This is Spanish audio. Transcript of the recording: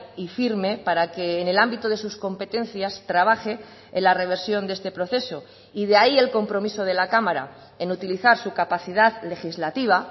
y firme para que en el ámbito de sus competencias trabaje en la reversión de este proceso y de ahí el compromiso de la cámara en utilizar su capacidad legislativa